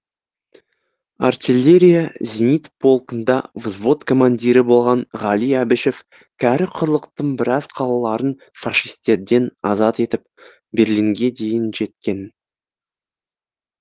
артеллерия зенит полкында взвод командирі болған ғали әбішев кәрі құрлықтың біраз қалаларын фашистерден азат етіп берлинге дейін жеткен